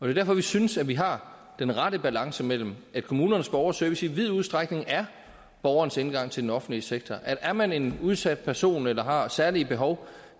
er derfor at vi synes at vi har den rette balance imellem at kommunernes borgerservice i vid udstrækning er borgernes indgang til den offentlige sektor men er man en udsat person eller har særlige behov